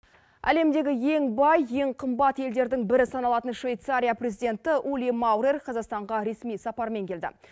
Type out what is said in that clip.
әлемдегі ең бай ең қымбат елдердің бірі саналатын швейцария президенті ули маурер қазақстанға ресми сапармен келді